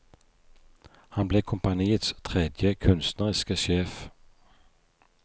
Han ble kompaniets tredje kunstneriske sjef.